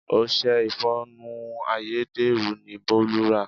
Ọṣẹ ìfọnu ayédèrú ni Bolu rà.